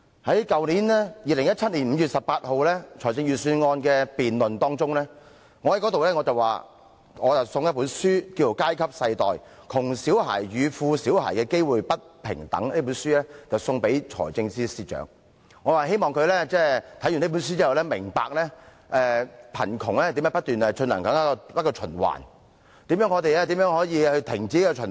在去年2017年5月18日的財政預算案辯論期間，我提到想把一本題為《階級世代：窮小孩與富小孩的機會不平等》的書送給財政司司長，希望他看畢這本書後，會明白到貧窮是如何不斷循環，以及我們如何可以制止這循環。